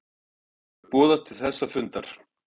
Hvenær verður boðað til þessa fundar